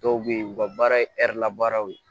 Dɔw bɛ yen u ka baara ye la baaraw ye